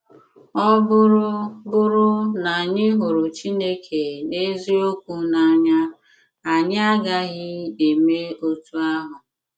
Ọ bụrụ bụrụ na anyị hụrụ Chineke na eziokwu n’anya, anyị agaghị eme otú ahụ.